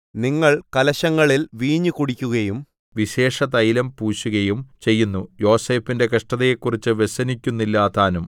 നിങ്ങൾ കലശങ്ങളിൽ വീഞ്ഞ് കുടിക്കുകയും വിശേഷതൈലം പൂശുകയും ചെയ്യുന്നു യോസേഫിന്റെ കഷ്ടതയെക്കുറിച്ച് വ്യസനിക്കുന്നില്ലതാനും